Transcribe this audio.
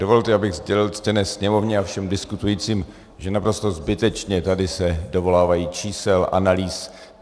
Dovolte, abych sdělil ctěné Sněmovně a všem diskutujícím, že naprosto zbytečně tady se dovolávají čísel, analýz.